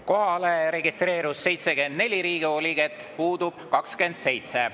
Kohalolijaks registreerus 74 Riigikogu liiget, puudub 27.